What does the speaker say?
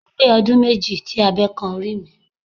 Ó pé ọdún méjì tí abe kan orí mi.